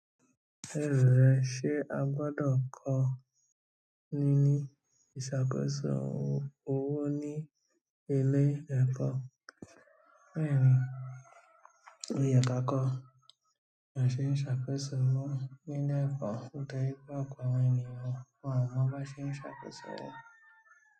Lérò rẹ, ṣe a gbọdọ̀ kọ níní ìṣàkóso owó ní ilé ẹ̀kọ́? Bẹ́ẹ̀ni, ó yẹ ka kọ́, ba ṣe n ṣàkóso owó nílé ẹ̀kọ́, ó jẹ́ wípé ọ̀pọ̀ àwọn ènìyàn wọn ò mọ bí wọ́n ṣe n ṣàkóso owó.